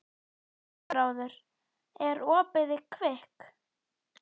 Elfráður, er opið í Kvikk?